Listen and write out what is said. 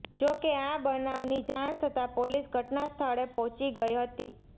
જો કે આ બનાવની જાણ થતાં પોલીસ ઘટના સ્થળે પહોંચી ગઈ હતી